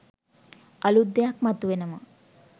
අලුත් දෙයක් මතු වෙනවා